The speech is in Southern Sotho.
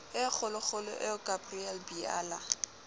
e kgolokgolo eo gabriel biala